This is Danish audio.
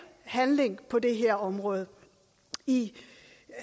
handling på det her område i